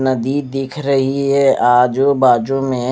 नदी दिख रही है आजो बाजो में--